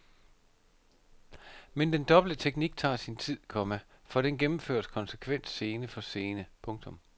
Men den dobbelte teknik tager sin tid, komma for den gennemføres konsekvent scene for scene. punktum